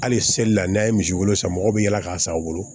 Hali seli la n'a ye misi wolo san mɔgɔw bɛ yaala k'a san a bolo